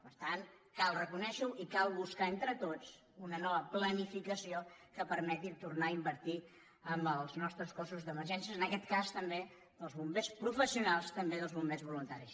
per tant cal reconèixer ho i cal buscar entre tots una nova planificació que permeti tornar a invertir en els nostres cossos d’emergència en aquest cas també dels bombers professionals i també del bombers voluntaris